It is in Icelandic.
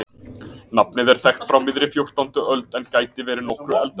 Nafnið er þekkt frá miðri fjórtándu öld en gæti verið nokkru eldra.